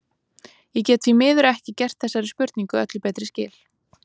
Ég get því miður ekki gert þessari spurningu öllu betri skil.